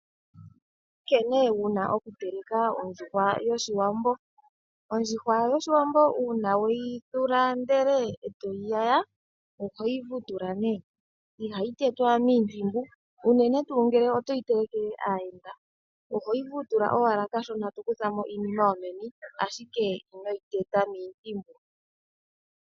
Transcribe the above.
Nkene wuna okuteleka ondjuhwa yoshiwambo. Ondjuhwa yoshiwambo uuna weyi thula ndele etoyi yaya, ohoyi vutula ne, ihayi tetwa miintimbu uunene tuu ngele otoyi telekele aayenda ohoyi vutula owala kashona eto kutha mo iinima yomeni, ashike inoyi teta miintimbu.